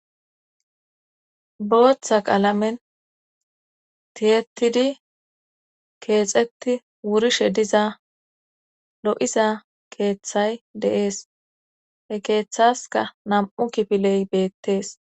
Booththa qaalamen tiyetidi keexetti wurishe diza lo'iza keeththay deees he keeththaska nam'u kifiley beettees.